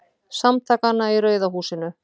Samtakanna í Rauða húsinu.